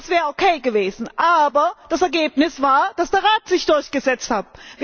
Das wäre in Ordnung gewesen. Aber das Ergebnis war, dass der Rat sich durchgesetzt hat!